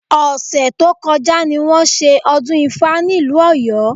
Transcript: Ọ̀sẹ̀ tó kọjá ni wọ́n ṣe ọdún ifá nílùú Ọ̀yọ́